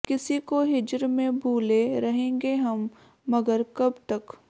ਕਿਸੀ ਕੋ ਹਿਜ੍ਰ ਮੇਂ ਭੂਲੇਂ ਰਹੇਂਗੇ ਹਮ ਮਗਰ ਕਬ ਤਕ